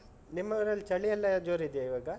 ನಿಮ್ಮೂರಲ್ಲಿ ಚಳಿ ಎಲ್ಲ ಜೋರ್ ಇದ್ಯಾ ಇವಾಗ?